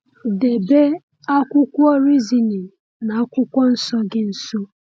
Debe akwụkwọ Reasoning na Akwụkwọ Nsọ gị nso.